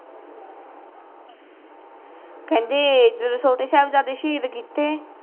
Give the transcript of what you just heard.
ਖੇਂਦੇ ਇੱਧਰ ਛੋਟੇ ਸਾਹਿਬਜ਼ਾਦੇ ਸ਼ਹੀਦ ਕੀਤੇ